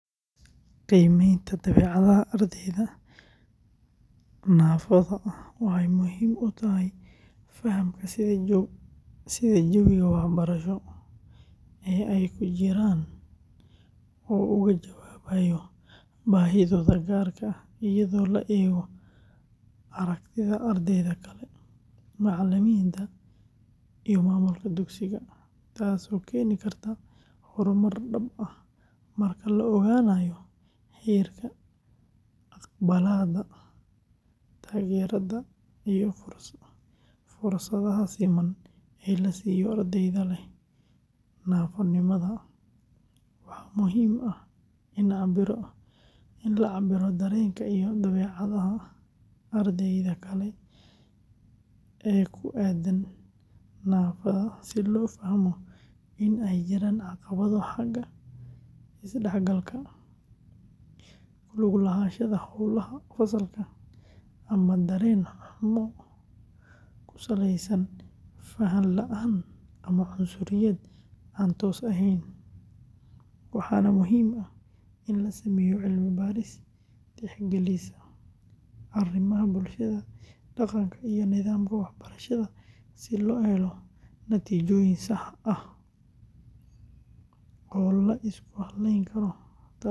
Qiimaynta dabeecadaha ardayda naafada ah waxay muhiim u tahay fahamka sida jawiga waxbarasho ee ay ku jiraan uu uga jawaabayo baahidooda gaarka ah, iyadoo la eego aragtida ardayda kale, macallimiinta, iyo maamulka dugsiga, taasoo keeni karta horumar dhab ah marka la ogaanayo heerka aqbalaadda, taageerada, iyo fursadaha siman ee la siiyo ardayda leh naafonimada; waxaa muhiim ah in la cabbiro dareenka iyo dabeecadda ardayda kale ee ku aaddan naafada si loo fahmo in ay jiraan caqabado xagga isdhexgalka, ku lug lahaanshaha howlaha fasalka, ama dareen xumo ku saleysan faham la’aan ama cunsuriyad aan toos ahayn, waxaana muhiim ah in la sameeyo cilmi-baaris tixgelisa arrimaha bulshada, dhaqanka, iyo nidaamka waxbarashada si loo helo natiijooyin sax ah oo la isku halayn karo, taasoo keeni karta.